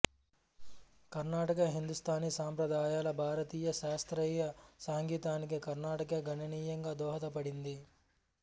కర్ణాటక హిందూస్థానీ సంప్రదాయాల భారతీయ శాస్త్రీయ సంగీతానికి కర్ణాటక గణనీయంగా దోహదపడింది